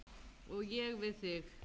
Og ég við þig.